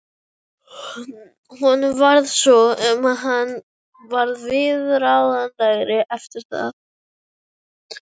Honum varð svo um að hann varð viðráðanlegri eftir það.